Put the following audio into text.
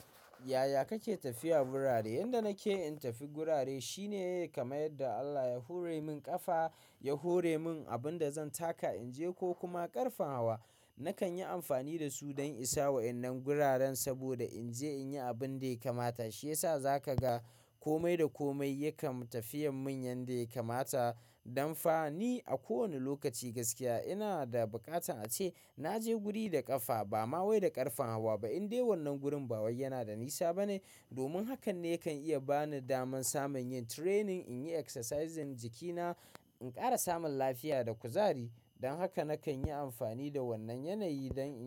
Yaya kake tafiya wurare? Yanda nake in tafi gurare shine kamar yadda Allah ya hore min ƙafa, ya hore min abin da zan taka in je ko kuma ƙarfen hawa. Nakan yi amfani da su dan isa wannan guraren saboda in je in yi abin da ya kamata. Shi yasa za ka ga komai da komai yakan tafiyan mun yanda ya kamata. Dan fa ni a kowani lokaci gaskiya ina da buƙatan ace. Na je guri da ƙafa ba ma wai da ƙarfen hawa ba. In dai wannan gurin ba wai yana da nisa ba ne. Domin hakan ne kan iya ba ni daman samun yin training, in yi exercises jikina, in ƙara samun lafiya da kuzari. Don haka nakan yi amfani da wannan yanayi don.